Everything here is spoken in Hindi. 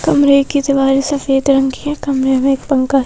कमरे की दीवार सफेद रंग की है कमरे में एक पंखा--